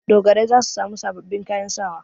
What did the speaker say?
Dogarai za su sami sababbin kayan sawa.